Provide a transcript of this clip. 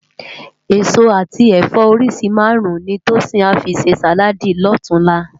Esó ati ẹfọ óriṣi márùn ni Tosin à fi sé sáládì lòtúnlá